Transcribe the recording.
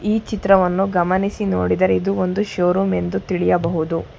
ಈ ಚಿತ್ರವನ್ನು ಗಮನಿಸಿ ನೋಡಿದರೆ ಇದು ಒಂದು ಶೋರೂಮ್ ಎಂದು ತಿಳಿಯಬಹುದು.